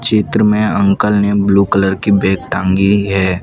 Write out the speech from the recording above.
चित्र में अंकल ने ब्लू कलर की बैग टांगी है।